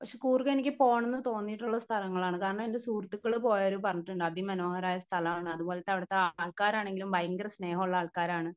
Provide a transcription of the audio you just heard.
Speaker 1 പക്ഷെ കൂർഗ എനിക്ക് പോണോന്ന് തോന്നിട്ടുള്ള സ്ഥലങ്ങളാണ് കാരണം എൻ്റെ സുഹൃത്തുക്കൾ പോയവര് പറഞ്ഞിട്ടുണ്ട് അതിമനോഹരായ സ്ഥലാണ് അതുപോലത്തെ അവിടുത്തെ ആൾക്കാരാണെങ്കിലും പയങ്കര സ്നേഹഉള്ള ആൾക്കാരാണ്.